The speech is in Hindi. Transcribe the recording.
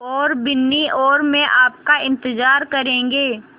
और बिन्नी और मैं आपका इन्तज़ार करेंगे